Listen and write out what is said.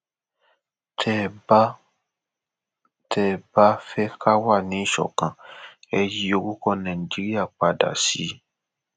tẹ ẹ bá ẹ bá fẹ ká wà níṣọkan ẹ yí orúkọ nàìjíríà padà sí